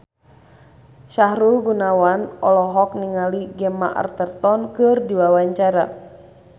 Sahrul Gunawan olohok ningali Gemma Arterton keur diwawancara